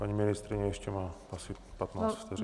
Paní ministryně ještě má asi 15 vteřin.